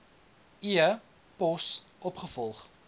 e pos opgevolg